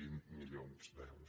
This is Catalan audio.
vint milions d’euros